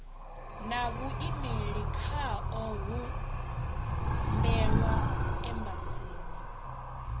na vhuimeli khao humbelwa embasini